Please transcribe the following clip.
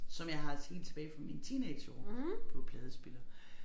Som jeg har også helt tilbage fra mine teenageår på pladespiller